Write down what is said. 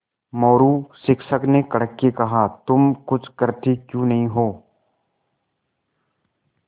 मोरू शिक्षक ने कड़क के कहा तुम कुछ करते क्यों नहीं हो